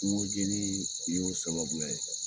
Kungo jenin nin y'o sababu ye